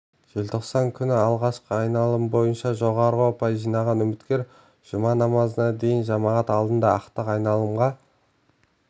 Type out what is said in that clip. желтоқсан күні алғашқы айналым бойынша жоғары ұпай жинаған үміткер жұма намазынан кейін жамағат алдында ақтық айналымға